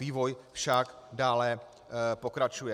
Vývoj však dále pokračuje.